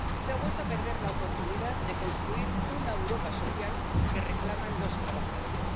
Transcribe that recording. Se ha vuelto a perder la oportunidad de construir una Europa social que reclaman los trabajadores.